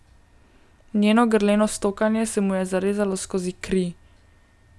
Njeno grleno stokanje se mu je zarezalo skozi kri.